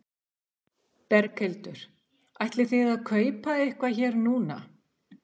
Berghildur: Ætlið þið að kaupa eitthvað hér núna?